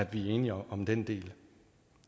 vi er enige om den del